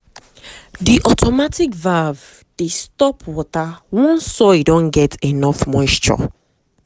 the automatic valve dey stop water once soil don get enough moisture.